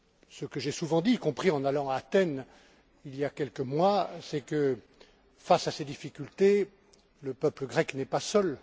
Ce que j'ai souvent dit, y compris en allant à Athènes, il y a quelques mois, c'est que, face à ses difficultés, le peuple grec n'est pas seul.